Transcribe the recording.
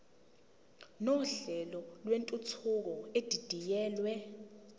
nohlelo lwentuthuko edidiyelwe